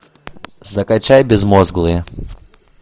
закачай безмозглые